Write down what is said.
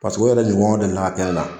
Paseke o yɛrɛ ɲɔgɔn deli la ka kɛ ne la.